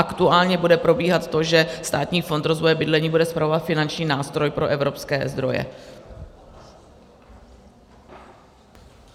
Aktuálně bude probíhat to, že Státní fond rozvoje bydlení bude spravovat finanční nástroj pro evropské zdroje.